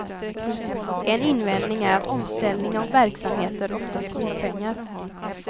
En invändning är att omställning av verksamheter oftast kostar pengar.